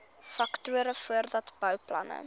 faktore voordat bouplanne